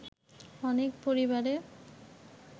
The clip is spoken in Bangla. অনেক পরিবারে